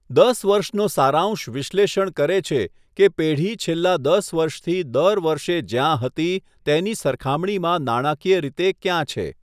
દસ વર્ષનો સારાંશ વિશ્લેષણ કરે છે કે પેઢી છેલ્લાં દસ વર્ષથી દર વર્ષે જ્યાં હતી તેની સરખામણીમાં નાણાકીય રીતે ક્યાં છે.